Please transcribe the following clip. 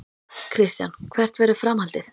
Kristján: Hvert verður framhaldið?